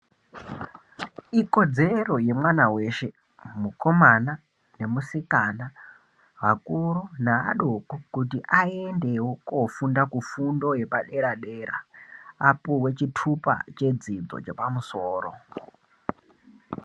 Ikodzero yemwana weshe mukomana nemusikana vakuru nevadoko kuti aendewo kofunda kufundo yepadera dera apo vezvitupa chedzidzo chepamusoro.